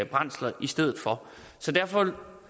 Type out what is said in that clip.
brændsler i stedet for derfor